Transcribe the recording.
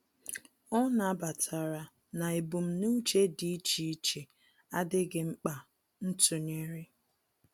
Ọ́ nàbàtàrà na ebumnuche dị́ iche iche ádị́ghị́ mkpa ntụnyere.